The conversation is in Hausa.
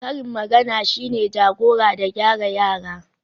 karin magana shine jagora da gyara yara